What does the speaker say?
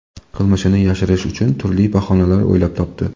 Qilmishini yashirish uchun turli bahonalar o‘ylab topdi.